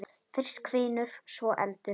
Fyrst hvinur, svo eldur.